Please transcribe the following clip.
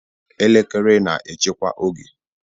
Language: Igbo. Elekere na-echekwa oge.